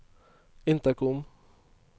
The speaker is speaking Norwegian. intercom